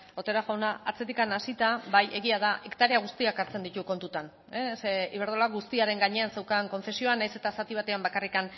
otero jauna atzetik hasita bai egia da hektarea guztiak hartzen ditu kontutan zeren iberdrola guztiaren gainean zeukan kontzesioa nahiz eta zati batean bakarrik